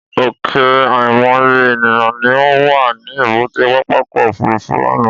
Ọ̀kẹ́ àìmọye ènìyàn ni ó wà ní èbúté pápákọ̀ òfúrufú lánàá.